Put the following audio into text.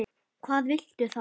Hvað viltu þá?